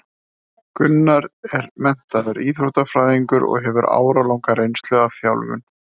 Gunnar er menntaður íþróttafræðingur og hefur áralanga reynslu af þjálfun.